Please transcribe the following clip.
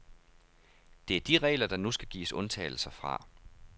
Det er de regler, der nu skal gives undtagelser fra.